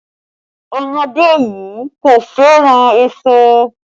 Ọmọdé yii kò fẹ́ràn èso